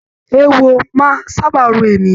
Èèwò máa n sábà ro èèyàn.